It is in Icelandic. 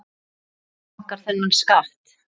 Borga bankar þennan skatt?